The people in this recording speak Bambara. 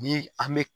Ni an bɛ